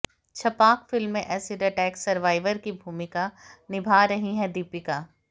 छपाक film में acid attack survivor की भूमिका निभा रहीं है दीपिका